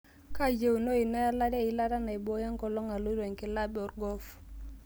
kaayieunoyu naelare eilata naibooyo enkolong' aloito enkilaab orgolf